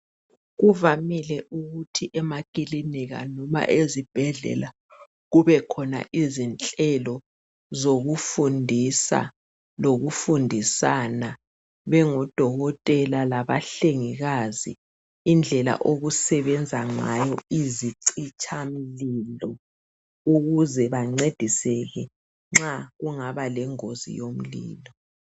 Kuvamile ukuthi emakilinika loba ezibhedlela kube khona izinhlelo zokufundisa loku fundisana bengodokotela laba hlengikazi indlela okusebenza ngayo izichitha mlimo ukuze bancediseke nxa kungaba lengozi yomlimo.